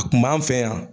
A kun b'an fɛ yan